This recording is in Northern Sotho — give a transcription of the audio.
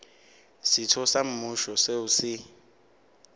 setho sa mmušo seo se